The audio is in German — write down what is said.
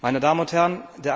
Meine Damen und Herren!